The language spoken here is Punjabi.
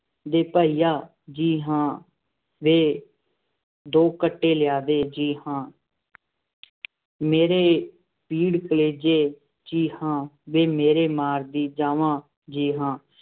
ਦੇ ਭਾਈਆ, ਜੀ ਹਾਂ, ਵੇ ਦੋ ਖੱਟੇ ਲਿਆ ਦੇ, ਜੀ ਹਾਂ, ਮੇਰੇ ਪੀੜ ਕਲੇਜ਼ੇ, ਜੀ ਹਾਂ, ਵੇ ਮੇਰੇ ਮਾਰਦੀ ਜਾਂਵਾਂ, ਜੀ ਹਾਂ।